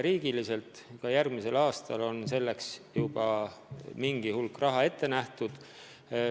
Juba järgmisel aastal on selleks mingi hulk raha ette nähtud.